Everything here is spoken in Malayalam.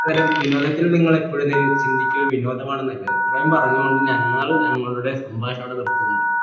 അത്പോലെ വിനോദത്തിൽ നിങ്ങൾ എപ്പോഴും എന്താ ചിന്തിക്ക വിനോദമാണെന്നല്ലേ ഇത്രയും പറഞ്ഞു കൊണ്ട് ഞനാണ് ഞങ്ങളുടെ സംഭാഷണം നിർത്തുന്നു